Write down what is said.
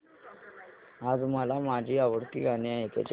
आज मला माझी आवडती गाणी ऐकायची आहेत